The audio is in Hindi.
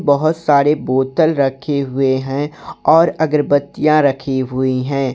बहोत सारे बोतल रखी हुए है और अगरबत्तीयां रखी हुई है।